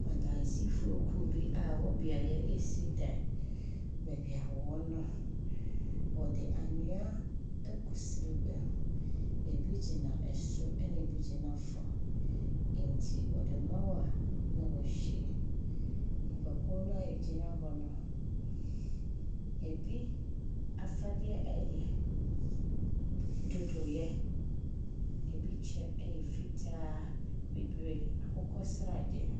Adansifokuo bi a wɔ beaeɛ resi dan. Baabi a wɔwɔ no, wɔde anwea anwea agu srebea. Ebi gyina soro na ebi gyina fam. Nti yɛde ma wo a, na wahwie. Nnipakuo a egyina hɔ no, ebi afadeɛ yɛ dodoeɛ. Ebi kyɛ yɛ fitaa, bibire, akokɔsradeɛ.